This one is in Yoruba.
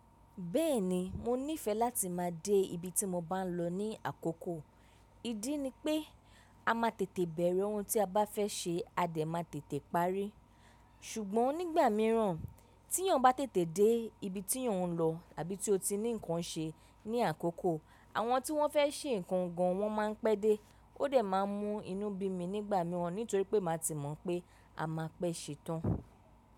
Bẹ́ẹ̀ni, mo nífẹ láti máa dé ibi tí mo bá ń lọ ní àkókò. Ídí ni pé a má tètè bẹ̀rẹ̀ oun tí a bá fẹ́ ṣe a dẹ̀ má tètè parí. Ṣùgbọ́n nígbà míràn tí eyan bá tètè dé ibi tí ọ̀ n lọ àbí tí o tí ní nǹkan ṣe ní àkókò àwọn tí wọ́n fẹ́ ṣe nǹkan gan wọ́n má ń pẹ́ dé ó dẹ̀ má ń mú inú bí mi nígbà míràn nítorí pé màá ti mọ̀ pé a máa pẹ́ ṣe tán.